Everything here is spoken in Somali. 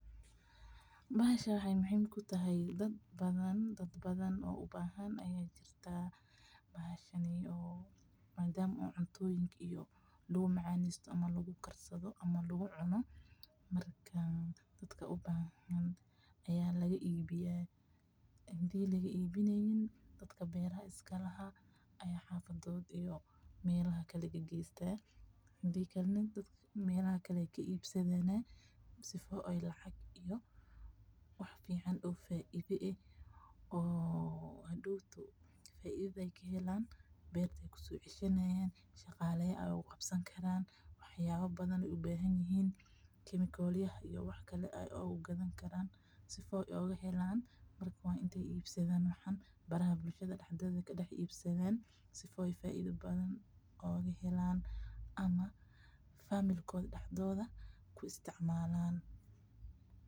Bahashaan waxay muhiim ku tahay daad badhan. Daad badhaan u bahaan aya jiirta bahashani madama cuntoyiinka lagu macanesto ama lagu karsadho ama lagu cuuno. Marka daadka u bahan aya laga ibiya. Hadii lagi ibinaynyiin daadka beeraha iska laha aya xafadood iyo melaha kale ay geeystaan hadii kale melaha kale ay ka ibsadhan sifo ay lacag iyo wax ficaan oo faaidhe eeh oo hadooto faaidha ay kahelaan beerta kuso cishanayan shagalaya ay kugabsani karaan wax yaba badhan ay ubahani hiin chemical yaha wax kale ay uga gadhani karaan sifo ay ugahelaan intay ibsadhaan waxan baraaha bulshada aay kaa ibsadhan si ay faaidha badhan ay kahelaan ama family koodha daxdodha ay ka isticmalan.